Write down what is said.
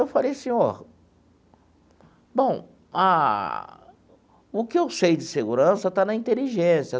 Eu falei, senhor, bom, ah o que eu sei de segurança está na inteligência.